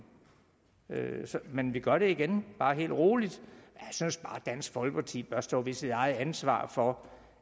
men vi gør det igen bare rolig jeg synes bare dansk folkeparti bør stå ved sit ansvar for